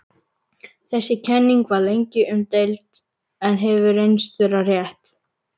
Þessi kenning var lengi umdeild en hefur reynst vera rétt.